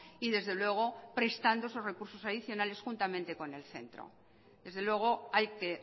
y desde luego prestando esos recursos adicionales juntamente con el centro desde luego hay que